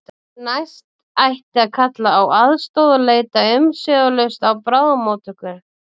Því næst ætti að kalla á aðstoð og leita umsvifalaust á bráðamóttöku.